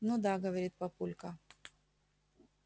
ну да говорит папулька